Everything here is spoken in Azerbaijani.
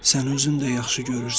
Sən özün də yaxşı görürsən.